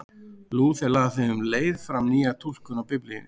Lúther lagði um leið fram nýja túlkun á Biblíunni.